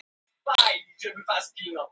Fáir þekkja föður sinn rétt.